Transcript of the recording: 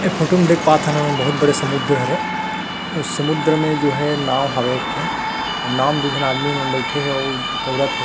ऐ फोटो में देख पाथन हमन बहुत बड़े समुन्द्र हरे अऊ समुन्द्र मे जो हे नाव हवय एक ठन नाव मे दु झन आदमी मन बईथे हे अऊ तौरत हे।